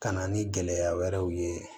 Ka na ni gɛlɛya wɛrɛw ye